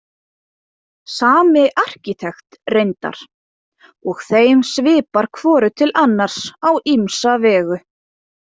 Sami arkitekt reyndar, og þeim svipar hvoru til annars á ýmsa vegu.